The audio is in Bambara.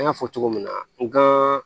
An y'a fɔ cogo min na n gan